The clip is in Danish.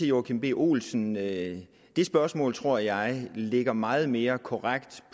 joachim b olsen at det spørgsmål tror jeg ligger meget mere korrekt